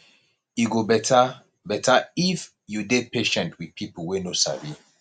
e go better better if you dey patient with pipo wey no sabi